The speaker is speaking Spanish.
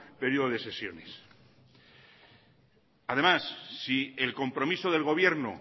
periodo de sesiones además si el compromiso del gobierno